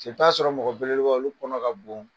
paseke i bɛ t'a sɔrɔ mɔgɔbeleɛba olu kɔnɔ ka bon.